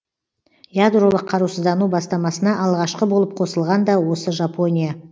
ядролық қарусыздану бастамасына алғашқы болып қосылған да осы жапония